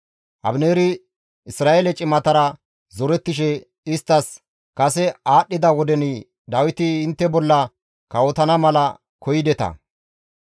Abineeri Isra7eele cimatara zorettishe isttas, «Kase aadhdhida woden Dawiti intte bolla kawotana mala koyideta.